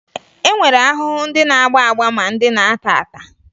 E nwere ahụhụ ndị na-agba agba ma ndị na-ata ata